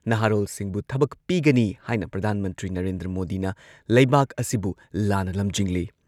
ꯁ꯭ꯔꯤ ꯒꯥꯟꯙꯤꯅ ꯍꯥꯏꯈꯤ ꯃꯁꯤꯡ ꯌꯥꯝꯂꯕ